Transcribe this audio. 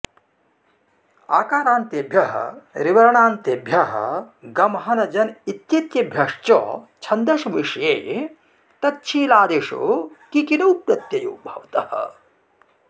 आकारान्तेभ्यः ऋवर्णान्तेभ्यः गम हन जन इत्येतेभ्यश्च छन्दसि विषये तच्छीलादिषु किकिनौ प्रतयौ भवतः